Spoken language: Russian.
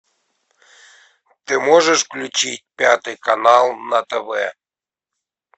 ты можешь включить пятый канал на тв